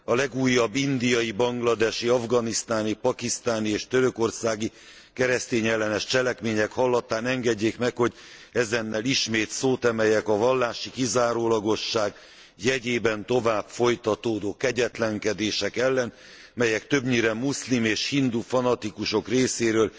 A legújabb indiai, bangladesi, afganisztáni, pakisztáni és törökországi keresztényellenes cselekmények hallatán engedjék meg, hogy ezennel ismét szót emeljek a vallási kizárólagosság jegyében tovább folytatódó kegyetlenkedések ellen, melyek többnyire muszlim és hindu fanatikusok részéről